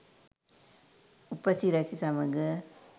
උපසිරැසි සමඟ